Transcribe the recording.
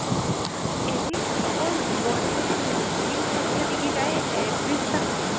এদিন অকল boil দিম খাইছিলে নেকি তাই একত্ৰিশটা খাইছে